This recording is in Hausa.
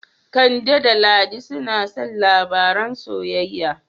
Kande da Ladi suna son labaran soyayya.